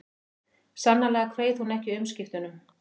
Sannarlega kveið hún ekki umskiptunum.